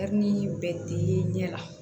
bɛ di ɲɛ la